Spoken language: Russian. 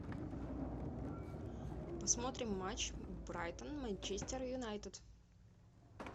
посмотрим матч брайтон манчестер юнайтед